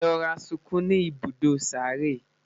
e rọra sunkún ní ibùdó sáré